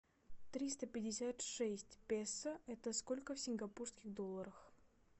триста пятьдесят шесть песо это сколько в сингапурских долларах